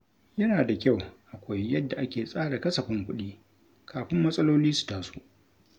Yana da kyau a koyi yadda ake tsara kasafin kuɗi kafin matsaloli su taso.